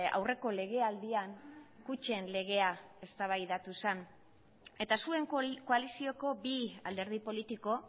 aurreko legealdian kutxen legea eztabaidatu zen eta zuen koalizioko bi alderdi politiko